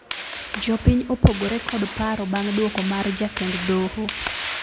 Jopiny opogore kod paro bang duoko mar jatend doho